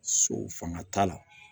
So fanga t'a la